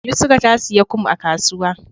yusra tasiya kum a kasuwa